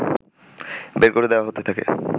বের করে দেয়া হতে থাকে